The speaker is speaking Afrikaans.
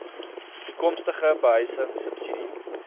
toekomstige behuising subsidie